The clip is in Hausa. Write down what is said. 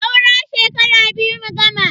Saura shekara biyu mu gama.